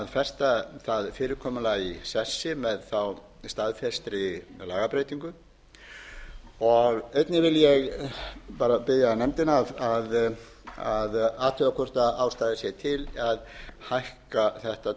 festa það fyrirkomulag í sessi með staðfestri lagabreytingu einnig vil ég bara biðja nefndina að athuga hvort ástæða sé til að hækka þetta